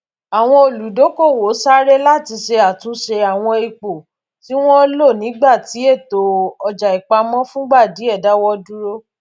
àwọn olùdókòwò sáré láti ṣe àtúnṣe àwọn ipò tí wọn lò nígbà tí ètò ọjàìpamọ fúngbà díẹ dáwó dúró